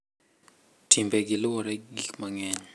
Timbegi luwore gi gik mang`eny.